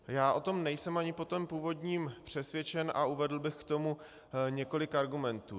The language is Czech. Já o tom nejsem ani po tom původním přesvědčen a uvedl bych k tomu několik argumentů.